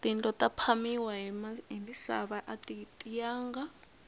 tindlo ta phamiwa hi misava ati tiyanga